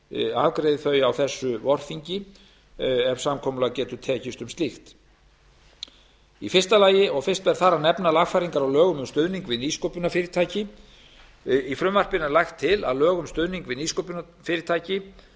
afgreiði þau á þessu vorþingi ef samkomulag getur tekist um slíkt fyrst ber þar að nefna lagfæringar á lögum um stuðning við nýsköpunarfyrirtæki í frumvarpinu er lagt til að lög um stuðning við nýsköpunarfyrirtæki